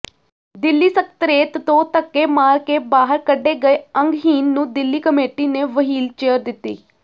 ਦਿੱਲੀ ਸਕੱਤ੍ਰੇਤ ਤੋਂ ਧੱਕੇਮਾਰ ਕੇ ਬਾਹਰ ਕੱਢੇ ਗਏ ਅੰਗਹੀਨ ਨੂੰ ਦਿੱਲੀ ਕਮੇਟੀ ਨੇ ਵਹੀਲਚੇਅਰ ਦਿੱਤੀ